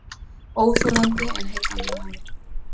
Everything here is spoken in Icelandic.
Óþolandi en heillandi maður